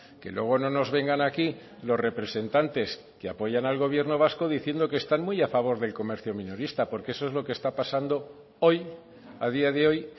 que luego no nos vengan aquí los representantes que apoyan al gobierno vasco diciendo que están muy a favor del comercio minorista porque eso es lo que está pasando hoy a día de hoy